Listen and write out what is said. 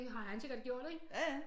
Det har han sikkert gjort ikke